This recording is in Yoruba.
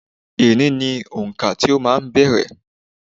Eni ní òǹkà tí máa ń bẹ̀rẹ̀.